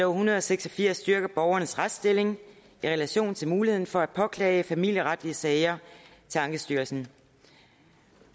hundrede og seks og firs styrker borgernes retsstilling i relation til muligheden for at påklage familieretlige sager til ankestyrelsen